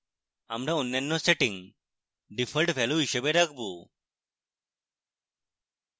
আমরা অন্যান্য settings default value হিসাবে রাখবো